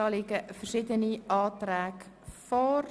Hierzu liegen verschiedene Anträge vor.